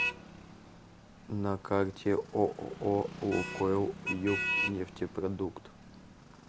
на карте ооо лукойл югнефтепродукт